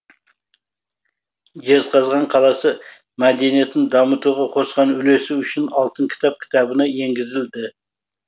жезқазған қаласы мәдениетін дамытуға қосқан үлесі үшін алтын кітап кітабына енгізілді